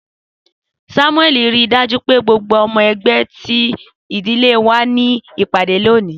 Samueli rii daju pe gbogbo ọmọ ẹgbẹ ti idile wa ni ipade loni.